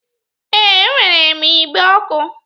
Ee, e nwere m igbe ọkụ